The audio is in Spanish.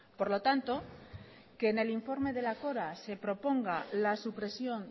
por lo tanto que en el informe de la cora se proponga la supresión